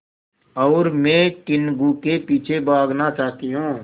और मैं टीनगु के पीछे भागना चाहती हूँ